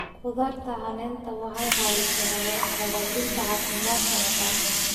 Khudradda caleenta waxay caawisaa hagaajinta caafimaadka maqaarka.